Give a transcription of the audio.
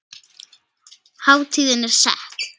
Hátíðin er sett.